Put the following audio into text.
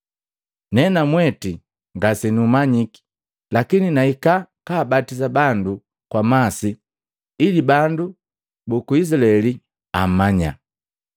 Nenamwete ngasenumanyiki, lakini nahika kabatisa bandu kwa masi ili bandu buku Izilaeli amanya.”